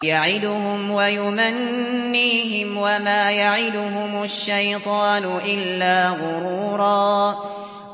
يَعِدُهُمْ وَيُمَنِّيهِمْ ۖ وَمَا يَعِدُهُمُ الشَّيْطَانُ إِلَّا غُرُورًا